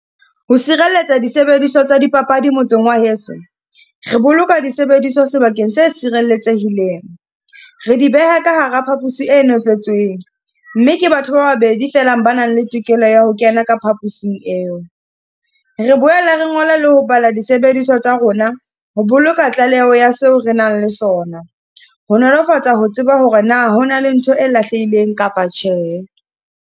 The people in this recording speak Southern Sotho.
Ho sireletsa disebediswa tsa dipapadi motseng wa heso, re boloka disebediswa sebakeng se tshireletsehileng. Re di beha ka hara phapusi e notletsweng, mme ke batho ba babedi fela ba nang le tokelo ya ho kena ka phaposing eo. Re boela re ngola le ho bala disebediswa tsa rona, ho boloka tlaleho ya seo re nang le sona. Ho nolofatsa ho tseba hore na hona le ntho e lahlehileng kapa tjhe.